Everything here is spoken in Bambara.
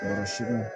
Kɔrɔ suguw